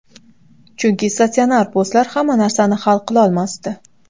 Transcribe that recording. Chunki statsionar postlar hamma narsani hal qilolmasdi.